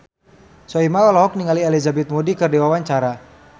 Soimah olohok ningali Elizabeth Moody keur diwawancara